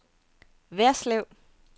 Værslev